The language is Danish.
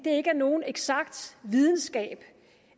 ikke er nogen eksakt videnskab